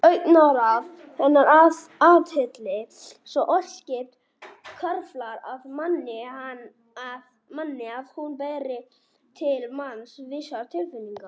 Augnaráð hennar, athygli svo óskipt, hvarflar að manni að hún beri til manns vissar tilfinningar.